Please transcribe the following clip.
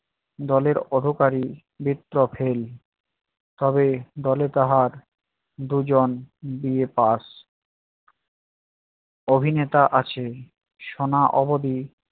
দলের অধোকারি fail তবে দলে তাহার দুজন BA pass অভিনেতা আছে শোনা অবধি